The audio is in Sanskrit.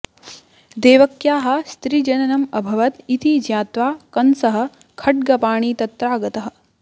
देवक्याः स्त्रीजननम् अभवत् इति ज्ञात्वा कंसः खड्गपाणि तत्रागतः